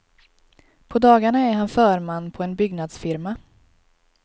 På dagarna är han förman på en byggnadsfirma.